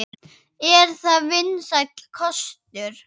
Er það vinsæll kostur?